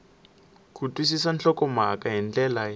ku twisisa nhlokomhaka hi ndlela